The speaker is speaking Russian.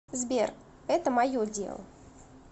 сбер это мое дело